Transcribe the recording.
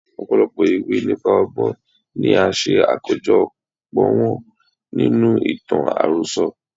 Ọ̀pọ̀lọpọ̀ ìwé nípa ọgbọ́n ni a ṣe àkójo pọ̀ wọn nínú ìtàn àròsọ.